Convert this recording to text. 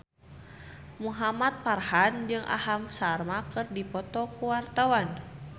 Muhamad Farhan jeung Aham Sharma keur dipoto ku wartawan